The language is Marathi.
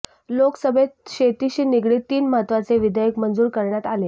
लोकसभेत शेतीशी निगडीत तीन महत्वाचे विधेयक मंजुर करण्यात आले